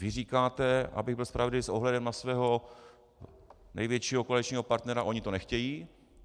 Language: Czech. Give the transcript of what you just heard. Vy říkáte, abych byl spravedlivý, s ohledem na svého největšího koaličního partnera: oni to nechtějí.